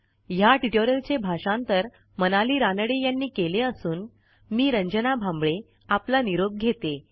ह्या ट्युटोरियलचे भाषांतर मनाली रानडे यांनी केले असून मी रंजना भांबळे आपला निरोप घेते